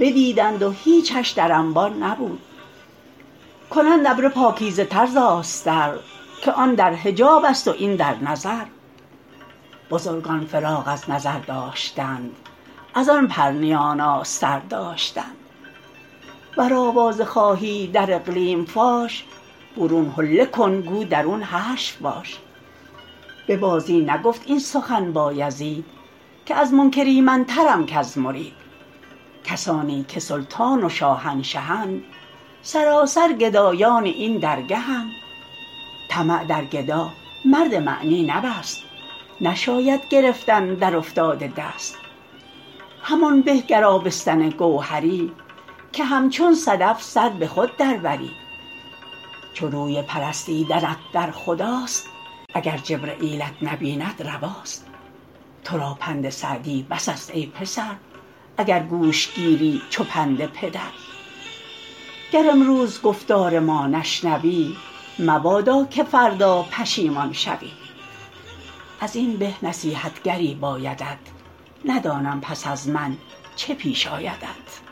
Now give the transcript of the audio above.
بدیدند و هیچش در انبان نبود کنند ابره پاکیزه تر ز آستر که آن در حجاب است و این در نظر بزرگان فراغ از نظر داشتند از آن پرنیان آستر داشتند ور آوازه خواهی در اقلیم فاش برون حله کن گو درون حشو باش به بازی نگفت این سخن بایزید که از منکر ایمن ترم کز مرید کسانی که سلطان و شاهنشهند سراسر گدایان این درگهند طمع در گدا مرد معنی نبست نشاید گرفتن در افتاده دست همان به گر آبستن گوهری که همچون صدف سر به خود در بری چو روی پرستیدنت در خداست اگر جبرییلت نبیند رواست تو را پند سعدی بس است ای پسر اگر گوش گیری چو پند پدر گر امروز گفتار ما نشنوی مبادا که فردا پشیمان شوی از این به نصیحتگری بایدت ندانم پس از من چه پیش آیدت